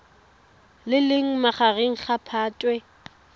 le leng magareng ga phatwe